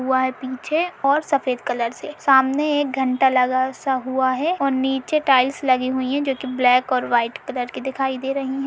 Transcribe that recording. हुआ है पीछे और सफेद कलर से। सामने एक घंटा लगा सा हुआ है और नीचे टाइल्स लगी हुईं है जो कि ब्लैक और वाइट कलर की दिखाई दे रहीं हैं।